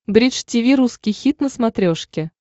бридж тиви русский хит на смотрешке